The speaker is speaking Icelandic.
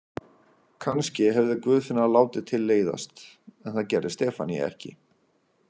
Kannski hefði Guðfinna látið til leiðast en það gerði Stefanía ekki.